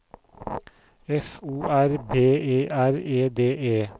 F O R B E R E D E